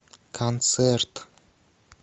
концерт